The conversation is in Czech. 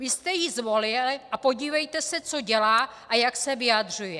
Vy jste ji zvolili a podívejte se, co dělá a jak se vyjadřuje.